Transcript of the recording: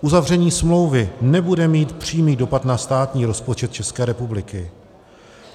Uzavření smlouvy nebude mít přímý dopad na státní rozpočet České republiky.